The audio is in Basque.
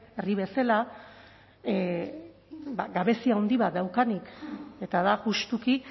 herri bezala gabezia handi bat daukanik eta da justuki